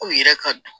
K'u yɛrɛ ka